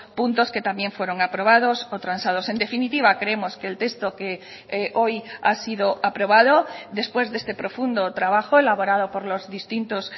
puntos que también fueron aprobados o transados en definitiva creemos que el texto que hoy ha sido aprobado después de este profundo trabajo elaborado por los distintos